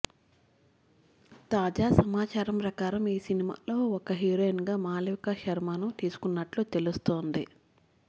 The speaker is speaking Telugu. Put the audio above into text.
తాజా సమాచారం ప్రకారం ఈ సినిమాలో ఒక హీరోయిన్ గా మాళవిక శర్మ ను తీసుకున్నట్లు తెలుస్తోంది